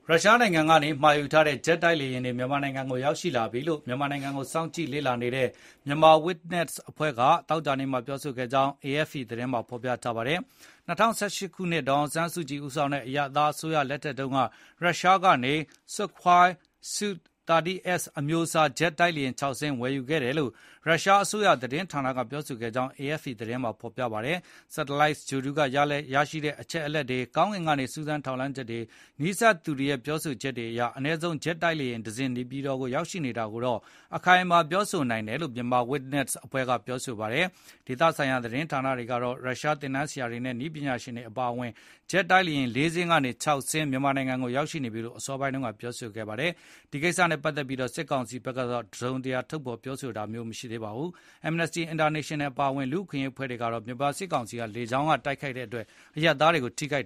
ရုရှားနိုင်ငံကနေ မှာယူထားတဲ့ ဂျက်တိုက်လေယဉ်တွေ မြန်မာနိုင်ငံကို ရောက်ရှိလာပြီလို့ မြန်မာနိုင်ငံကို စောင့်ကြည့်လေ့လာနေတဲ့ Myanmar Witness အဖွဲ့က သောကြာနေ့က ပြောဆိုကြောင်း AFP သတင်းမှာဖေါ်ပြထားပါတယ်။ ၂၀၁၈ ခုနှစ် ဒေါ်အောင်ဆန်းစုကြည် ဦးဆောင်တဲ့ အရပ်သား အစိုးရ လက်ထက်တုန်း က ရုရှားကနေ Sukhoi Su-30s အမျိုးအစား ဂျက်တိုက်လေယဉ် ၆ စင်း ဝယ်ယူခဲ့တယ်လို့ ရုရှားအစိုးရ သတင်းဌာနက ပြောခဲ့ကြောင်း AFP သတင်းမှာ ဖေါ်ပြပါတယ်။ Sattleite ဂြိုလ်တု က ရရှိတဲ့အချက်လက်တွေ၊ ကောင်းကင်ကနေ စူးစမ်းထောက်လှမ်းချက်တွေ၊ နီးစပ်သူတွေရဲ့ ပြောဆိုချက်တွေအရ အနည်းဆုံး ဂျက်တိုက်လေယာဉ် ၁ စင်း နေပြည်တော် ရောက်ရှိနေတာကိုတော့ အခိုင်အမာ ပြောနိုင်တယ်လို့ Myanmar Witness အဖွဲ့ ကပြောဆိုပါတယ်။ ဒေသဆိုင်ရာ သတင်းဌာနတွေကတော့ ရုရှားသင်တန်းဆရာတွေနဲ့ နည်းပညာရှင်တွေ အပါအဝင် ဂျက်တိုက်လေယဉ် ၄ စင်း ဒါမှမဟုတ် ၆ စင်း မြန်မာနိုင်ငံကို ရောက်ရှိနေပြီလို့ အစောပိုင်း က ဖေါ်ပြခဲ့ကြပါတယ်။ ဒီကိစ္စနဲ့ ပတ်သက်ပြီး စစ်ကောင်စီဘက်ကတော့ တစုံတရာ ထုတ်ဖေါ်ပြောဆိုတာမျိုး မရှိသေးပါဘူး။ Amnesty International အပါအဝင် လူ့အခွင့်အရေးအဖွဲ့တွေကတော့ မြန်မာစစ်ကောင်စီက လေကြောင်းနေ တိုက်ခိုက်ခဲ့တဲ့အတွက် အရပ်သားတွေ ထိခိုက်